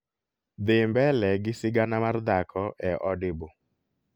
dhi mbele gi sigana mar dhako e audible